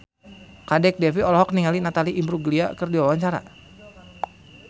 Kadek Devi olohok ningali Natalie Imbruglia keur diwawancara